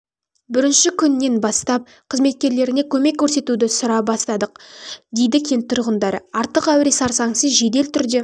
бірінші күнінен бастап қызметкерлеріне көмек көрсетуді сұра бастадық дейді кент тұрғындары артық әуре-сарсаңсыз жедел түрде